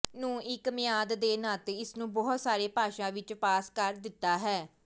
ਨੂੰ ਇੱਕ ਮਿਆਦ ਦੇ ਨਾਤੇ ਇਸ ਨੂੰ ਬਹੁਤ ਸਾਰੇ ਭਾਸ਼ਾ ਵਿੱਚ ਪਾਸ ਕਰ ਦਿੱਤਾ ਹੈ